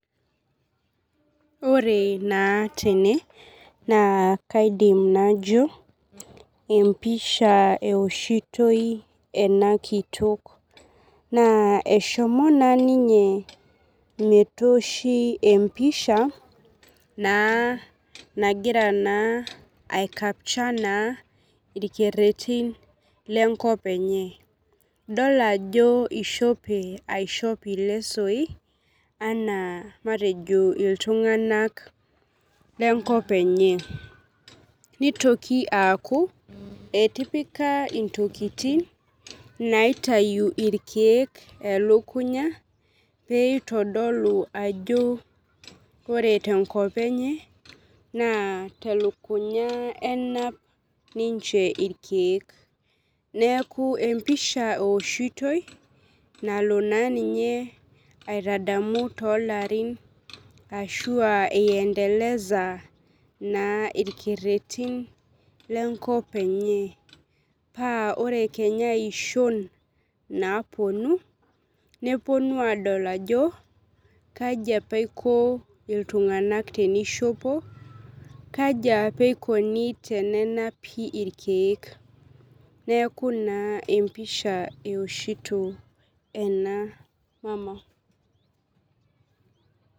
Ore naa tene naa kaidim najo empisha eeoshiyoi ena kitoko naa eshomo naa ninye metooshinempisha naa nagira akapcha orkereti lenkop enye idolita naa ajo eishope ilsesoi enaa iltung'anak lenkop enye neitoki aaku etipika intokitin. Naaitayu irkiek elukuny aoeeitodolu ajo ore tenkop enye naa telukunya enap ninche irkiek neeku empisha ewoshitaoi nalo aitadamu toolarin ashua eidndelesa irkeretin lenkop enye paa ore kenya iishon naapuonu nepuonu aadol ajo kanji eiko iltung'anak teneishopo kaji apa eikoni tenenapi irkiek neeku naa empisha ewoshito ena mama